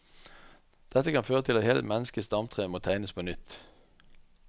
Dette kan føre til at hele menneskets stamtre må tegnes på nytt.